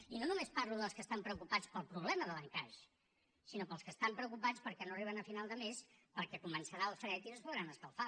i no només parlo dels que estan preocupats pel problema de l’encaix sinó pels que estan preocupats perquè no arriben a final de mes perquè començarà el fred i no es podran escalfar